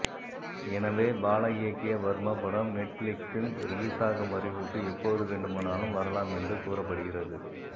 எனவே பாலா இயக்கிய வர்மா படம் நெட்பிளிக்ஸில் ரிலீசாகும் அறிவிப்பு எப்போது வேண்டுமானாலும் வரலாம் என்று கூறப்படுகிறது